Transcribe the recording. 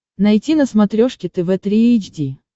найти на смотрешке тв три эйч ди